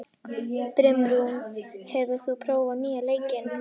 Brimrún, hefur þú prófað nýja leikinn?